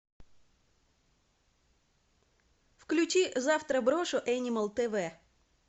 включи завтра брошу энимал тв